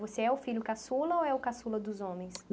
Você é o filho caçula ou é o caçula dos homens?